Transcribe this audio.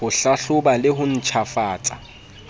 ho hlahloba le ho ntjhafatsa